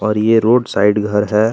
और ये road side घर है।